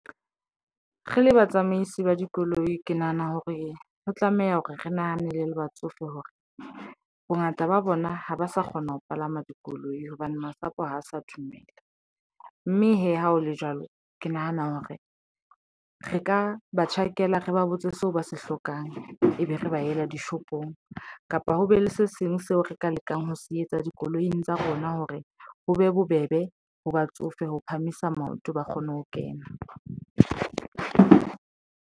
Re le batsamaisi ba dikoloi ke nahana hore ho tlameha hore re nahanele le batsofe hore bongata ba bona ha ba sa kgona ho palama dikoloi hobane masapo ho sa dumela mme hee ha ho le jwalo. Ke nahana hore re ka ba tjhakela re ba botse seo ba se hlokang, e be re ba ela dishopong. Kapa ho be le se seng seo re ka lekang ho se etsa dikoloing tsa rona hore ho be bobebe ho batsofe ho phahamisa maoto, ba kgone ho kena.